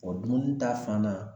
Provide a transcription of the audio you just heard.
dumuni ta fan na